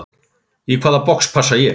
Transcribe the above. Í hvaða box passa ég?